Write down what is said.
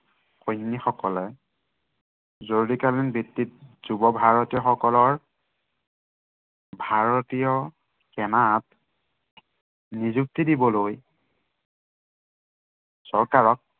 সৈনিকসকলে জৰুৰীকালীন ভিত্তিত, যুৱ ভাৰতীয় সকলৰ ভাৰতীয় সেনাত নিযুক্তি দিবলৈ চৰকাৰক